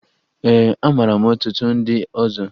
Ee, amara m ọtụtụ ndị ọzọ